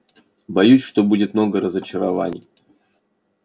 боюсь что будет много разочарований